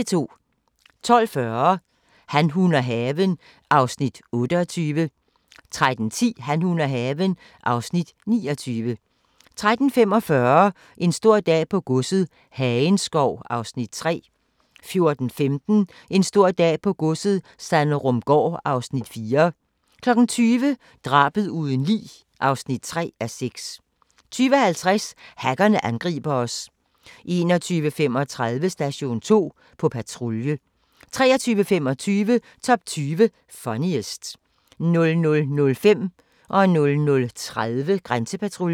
12:40: Han, hun og haven (Afs. 28) 13:10: Han, hun og haven (Afs. 29) 13:45: En stor dag på godset - Hagenskov (Afs. 3) 14:15: En stor dag på godset - Sanderumgaard (Afs. 4) 20:00: Drabet uden lig (3:6) 20:50: Hackerne angriber os 21:35: Station 2: På patrulje 23:25: Top 20 Funniest 00:05: Grænsepatruljen 00:30: Grænsepatruljen